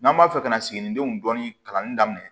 N'an b'a fɛ ka siginidenw dɔɔni kalanni daminɛ